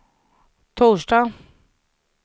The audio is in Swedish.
torsdag